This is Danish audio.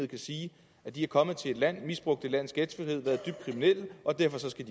kan sige er kommet til et land og har misbrugt landets gæstfrihed har været dybt kriminelle og derfor skal